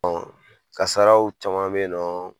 Kasaraw caman bɛ yen nɔ